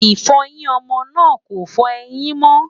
ifoyin ọmọ náà kò fọ ẹyìn mo